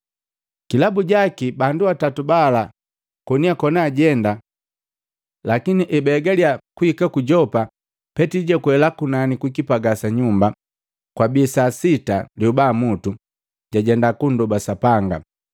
Kilabu jaki, bandu atatu bala koni akona ajenda, lakini ebaegaliya kuhika ku Yopa, Petili jwakwela kunani kukipagaa sa nyumba, kwabii sa sita lyobamutu jajenda kundoba Sapanga.